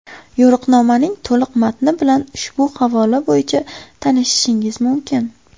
Yo‘riqnomaning to‘liq matni bilan ushbu havola bo‘yicha tanishishingiz mumkin.